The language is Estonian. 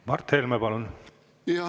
Mart Helme, palun!